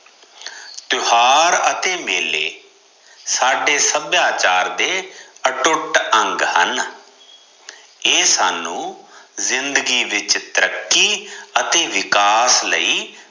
ਤਿਓਹਾਰ ਅਤੇ ਮੇਲੇ ਸਾਡੇ ਸਭਿਆਚਾਰ ਦੇ ਅੱਟੁਟ ਅੰਗ ਹਨ ਇਹ ਏਸਨੂੰ ਜਿੰਦਗੀ ਵਿਚ ਤਰੱਕੀ ਅਤੇ ਵਿਕਾਸ ਲਈ